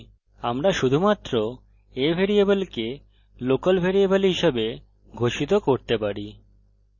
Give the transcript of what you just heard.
আমরা শুধুমাত্র a ভ্যারিয়েবলকে local ভ্যারিয়েবল হিসাবে ঘোষিত করতে পারি